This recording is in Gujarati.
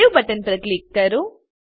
સવે બટન પર ક્લિક કરો